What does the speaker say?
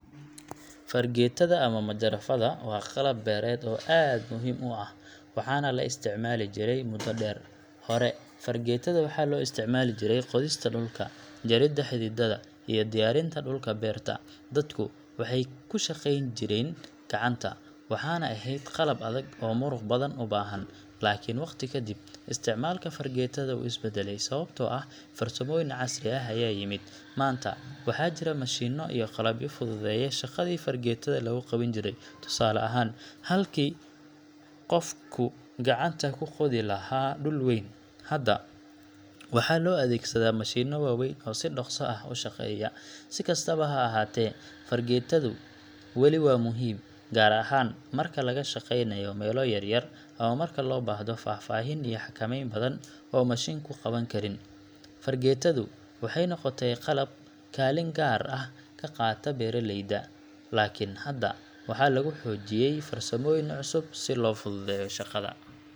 Fargeetada ama majarafada waa qalab beereed oo aad muhiim u ah, waxaana la isticmaali jiray muddo dheer. Hore, fargeetada waxaa loo isticmaali jiray qodista dhulka, jaridda xididdada, iyo diyaarinta dhulka beerta. Dadku waxay ku shaqayn jireen gacanta, waxaana ahayd qalab adag oo muruq badan u baahan. Laakiin waqti ka dib, isticmaalka fargeetada wuu is beddelay sababtoo ah farsamooyin casri ah ayaa yimid. Maanta waxaa jira mashiinno iyo qalabyo fududeeya shaqadii fargeetada lagu qaban jiray. Tusaale ahaan, halkii qofku gacanta ku qodi lahaa dhul weyn, hadda waxaa loo adeegsadaa mashiinno waaweyn oo si dhaqso ah u shaqeeya. Si kastaba ha ahaatee, fargeetadu wali waa muhiim, gaar ahaan marka laga shaqeynayo meelo yaryar ama marka loo baahdo faahfaahin iyo xakameyn badan oo mashiinku qaban karin. Fargeetadu waxay noqotay qalab kaalin gaar ah ka qaata beeraleyda, laakiin hadda waxaa lagu xoojiyay farsamooyin cusub si loo fududeeyo shaqada.